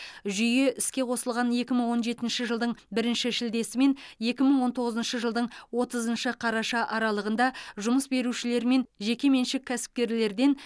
жүйе іске қосылған екі мың он жетінші жылдың бірінші шілдесі мен екі мың он тоғызыншы жылдың отызыншы қараша аралығында жұмыс берушілер мен жекеменшік кәсіпкерлерден